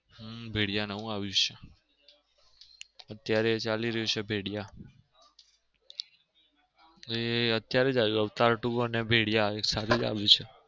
હમ ભેળીયા નવું આવ્યું છે અત્યાર ચાલી રહ્યું છે ભેળીયા. અત્યરે જ આવ્યું અવતાર two અને ભેળીયા એક સાથે જ આવ્યું છે